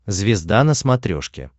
звезда на смотрешке